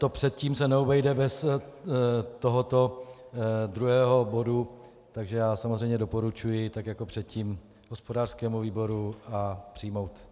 To předtím se neobejde bez tohoto druhého bodu, takže já samozřejmě doporučuji tak jako předtím hospodářskému výboru a přijmout.